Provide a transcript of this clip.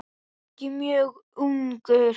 Ekki mjög ungur.